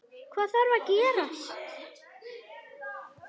Hvað þarf að gerast?